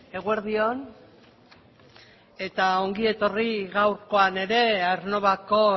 eguerdi on eta ongi etorri gaurkoan ere aernnovako